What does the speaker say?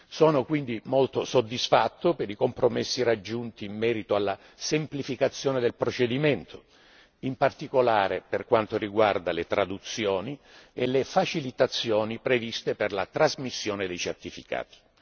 Sono quindi molto soddisfatto per i compromessi raggiunti in merito alla semplificazione del procedimento, in particolare per quanto riguarda le traduzioni e le facilitazioni previste per la trasmissione dei certificati.